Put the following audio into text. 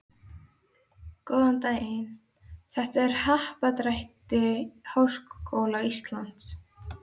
Góðan daginn, þetta er á Happadrætti Háskóla Íslands.